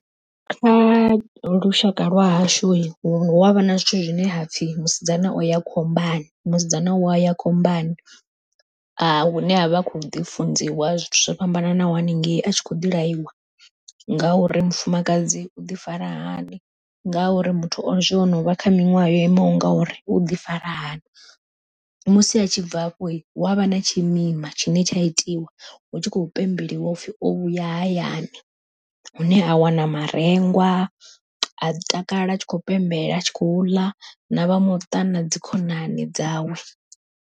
Kha lushaka lwahashu hu avha na zwithu zwine hapfhi musidzana o ya khombani, musidzana u ya ya khombani, hune avha a kho ḓi funziwa zwithu zwo fhambananaho haningei a tshi kho ḓi laiwa, ngauri mufumakadzi u ḓi fara hani. Ngauri muthu hezwi o no vha kha miṅwaha yo imaho ngauri u ḓi fara hani, musi a tshi bva afho hu avha na tshimima tshine tsha itiwa, hu tshi khou pembeliwa upfhi o vhuya hayani, hune a wana marengwa a takala a tshi kho pembela a tshi khou ḽa na vha muṱa na dzikhonani dzawe.